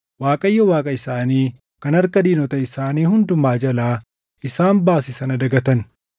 Waaqayyo Waaqa isaanii kan harka diinota isaanii hundumaa jalaa isaan baase sana dagatan.